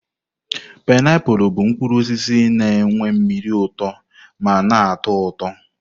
painiapulu bụ mkpụrụ osisi na nwe mmiri uto ma na-atọ ụtọ.